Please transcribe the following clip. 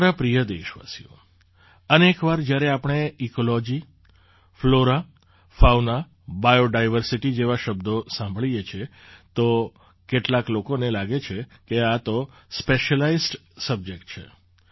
મારા પ્રિય દેશવાસીઓ અનેક વાર જ્યારે આપણે ecology flora fauna biodiversity જેવા શબ્દો સાંભળીએ છીએ તો કેટલાક લોકોને લાગે છે કે આ તો સ્પેશિયલાઇઝ્ડ સબ્જેક્ટ છે